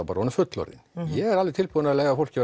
bara orðinn fullorðinn ég er alveg tilbúinn að leyfa fólki